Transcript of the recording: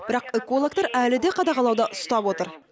бірақ экологтар әлі де қадағалауда ұстап отыр